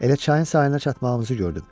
Elə çayın sahilinə çatmağımızı gördüm.